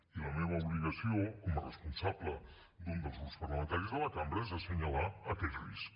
i la meva obligació com a responsable d’un dels grups parlamentaris de la cambra és assenyalar aquest risc